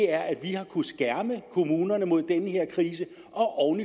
er at vi har kunnet skærme kommunerne mod den her krise og